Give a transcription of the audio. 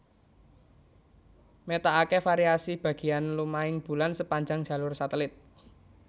Métakaké variasi bagéan lumahing bulan sepanjang jalur satelit